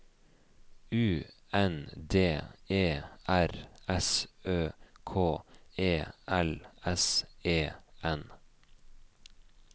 U N D E R S Ø K E L S E N